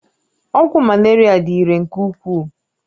Ọgwụ Malaria dị irè nke ukwuu